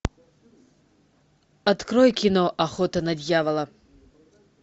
открой кино охота на дьявола